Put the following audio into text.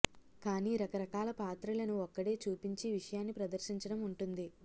కాని రకరకాల పాత్రలను ఒక్కడే చూపించి విషయాన్ని ప్రదర్శించడం ఉంటుంది